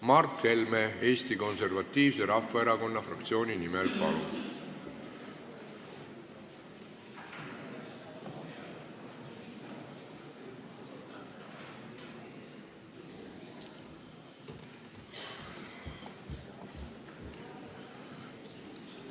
Mart Helme Eesti Konservatiivse Rahvaerakonna fraktsiooni nimel, palun!